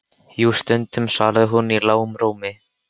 Jú, stundum, svaraði hún í lágum rómi.